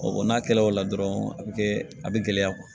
o n'a kɛla o la dɔrɔn a bɛ kɛ a bɛ gɛlɛya